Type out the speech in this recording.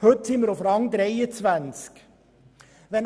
Heute sind wir auf Rang 23.